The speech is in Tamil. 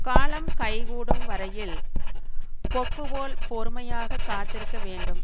காலம் கை கூடும் வரையில் கொக்கு போல் பொறுமையாகக் காத்திருக்க வேண்டும்